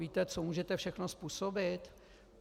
Víte, co můžete všechno způsobit?